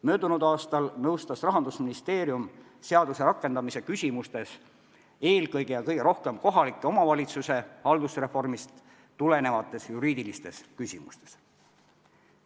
Möödunud aastal andis Rahandusministeerium eelkõige nõu seaduse rakendamise kohta ja seda just kohaliku omavalitsuse haldusreformist tulenevates juriidilistes küsimustes.